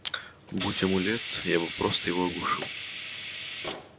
будь амулет я бы просто его оглушил